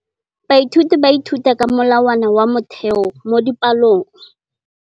Baithuti ba ithuta ka molawana wa motheo mo dipalong.